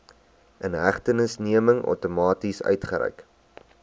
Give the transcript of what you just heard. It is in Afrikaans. inhegtenisneming outomaties uitgereik